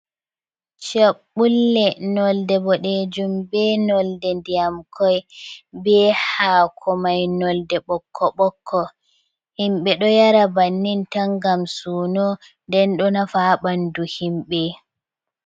Chaɓɓulle nolde boɗejum, be nolde ndiyam koi, be hakomai nolde ɓokko-ɓokko, himɓe ɗo yara bannin tan ngam suno, nden ɗo nafa ha ɓandu himɓe.